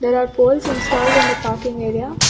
There are poles installed in the parking area.